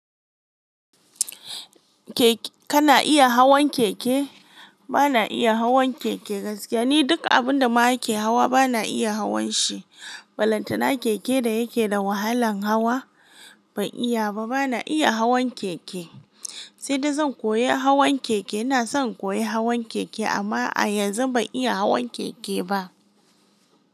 Kana iya hawan keke? Bana iya hawan keke gaskiya. Ni duk abun da ma ake hawa bana iya hawan shi. Balantana keke da yake da wahalan hawa ban iya ba. Bana iya hawan keke, sai dai zan koya hawan keke. Ina son in koya hawan keke amma a yanzu ban iya hawan keke ba.